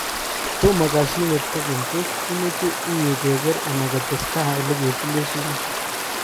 Tomo kashinet kokeny tos imechenye keker anan kotestai oleketile sumek?